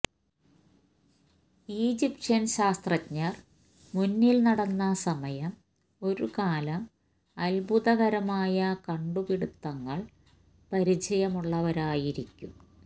Egyptian ശാസ്ത്രജ്ഞർ മുന്നിൽ നടന്ന സമയം ഒരു കാലം അത്ഭുതകരമായ കണ്ടുപിടിത്തങ്ങൾ പരിചയമുള്ളവരായിരിക്കും